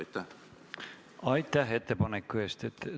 Aitäh ettepaneku eest!